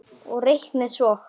Og reiknið svo.